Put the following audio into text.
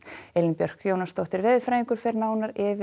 Elín Björk Jónasdóttir veðurfræðingur fer nánar yfir